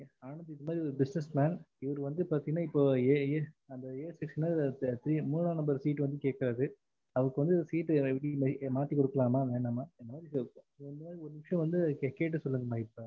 ஆனந்த இந்த மாதிரி ஒரு business man இப்போ வந்து இவரு a section ல மூனா number seat கேக்காரு அவருக்கு seat வந்து மாத்தி குடுக்கலம்மா வேண்டம்மனு ஒரு நிமிஷம் வந்து கேட்டு சொல்லுங்கம்மா